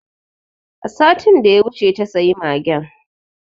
A satin da ya wuce ta sayi magen